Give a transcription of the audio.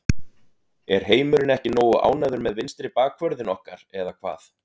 Er heimurinn ekki nógu ánægður með vinstri bakvörðinn okkar eða hvað?